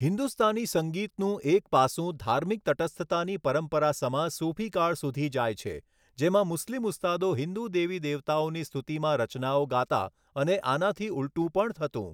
હિન્દુસ્તાની સંગીતનું એક પાસું ધાર્મિક તટસ્થતાની પરંપરા સમા સૂફીકાળ સુધી જાય છે, જેમાં મુસ્લિમ ઉસ્તાદો હિંદુ દેવી દેવતાઓની સ્તુતિમાં રચનાઓ ગાતા અને આનાથી ઊલટું પણ થતું.